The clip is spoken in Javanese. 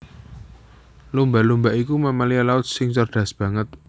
Lumba lumba iku mamalia laut sing cerdas banget